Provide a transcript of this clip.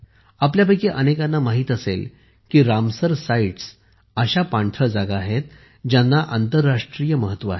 आपल्यापैकी अनेकांना माहित असेल की रामसर साइट्स अशा पाणथळ जागा आहेत ज्यांना आंतरराष्ट्रीय महत्त्व आहे